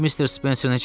Missis Spencer necədir?